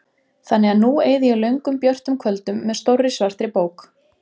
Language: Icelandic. Þannig að nú eyði ég löngum björtum kvöldum með stórri svartri bók.